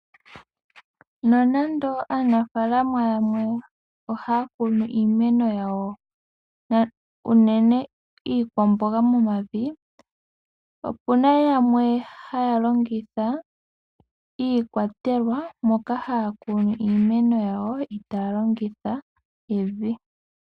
Nonando aanafalama yamwe ohaya kunu iimeno yawo unene iikwamboga , opuna yamwe haya longitha iikwatelwa moka haya kunu iimeno yawo, eta yalongitha evi.